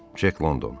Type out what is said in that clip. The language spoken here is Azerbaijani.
Cek London.